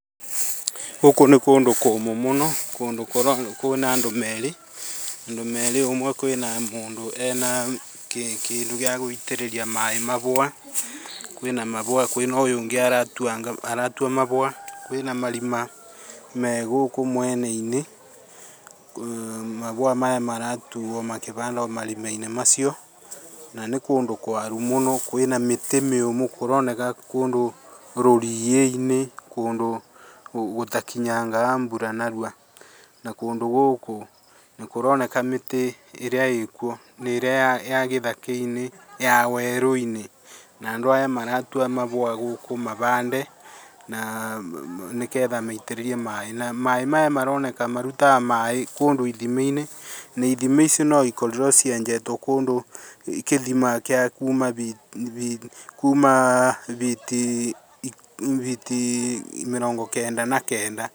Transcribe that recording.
Gũkũ nĩ kũndũ kũmũ mũno kũndũkwĩna andũ merĩ, andũ merĩ ũmwe kwĩna mũndũ ena kĩndũ gĩagũitĩrĩria maĩ maua, kwĩna maũa, kwĩna ũngĩ aratua maũa, kwĩna marima megũkũ mwenainĩ ,maũa maya maratuo makĩbandagwa marimainĩ macio na nĩ kũndu kwaru mũno kwĩna mĩtĩ mĩũmũ, kũroneka kũndũ rũriĩinĩ, kũndũ gũtakinyangaga mbura narua na kũndũ gũkũ nĩkũronneka mĩtĩ ĩrĩa ĩkuo nĩ ĩrĩa ya gĩthakainĩ ya werũinĩ na andũ arĩa maratua mabũa gũkũ mabande na na nĩgetha maitĩrĩrie maĩ, maĩ maya maroneka marutaga maĩ kũndũ ithimainĩ na ithima icio nĩ ikorirwe cienjetwe kũndũ kĩthima kĩa kuuma [uuhh]biti mĩrongo kenda na kenda.